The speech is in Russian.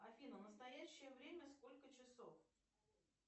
афина в настоящее время сколько часов